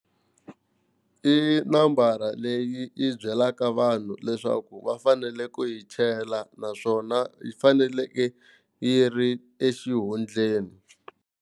I nambara leyi yi byelaka vanhu leswaku va fanele ku yi chela naswona yi faneleke yi ri exihundleni.